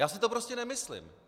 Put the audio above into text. Já si to prostě nemyslím.